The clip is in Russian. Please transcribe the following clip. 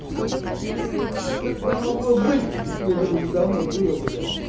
а если бы такое могло быть то это уже давно было бы бля